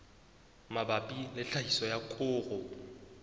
mabapi le tlhahiso ya koro